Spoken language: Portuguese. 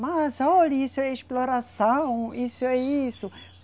Mas olhe, isso é exploração, isso é isso.